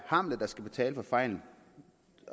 hamlet der skal betale for fejlen